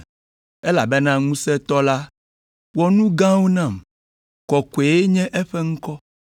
Elabena Ŋusẽtɔ la wɔ nu gãwo nam. Kɔkɔe nye eƒe ŋkɔ.